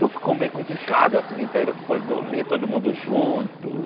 Então ficou meio complicado, é o seguinte, aí era foi dormir todo mundo junto.